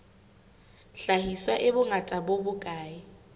hlahiswa e bongata bo bokae